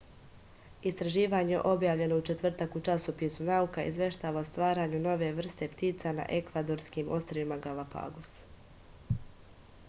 istraživanje objavljeno u četvrtak u časopisu nauka izveštava o stvaranju nove vrste ptica na ekvadorskim ostrvima galapagos